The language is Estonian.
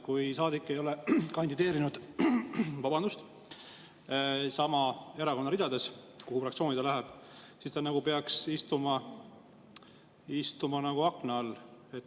Kui saadik ei ole kandideerinud sama erakonna ridades, mille fraktsiooni ta läheb, siis ta peaks istuma akna all.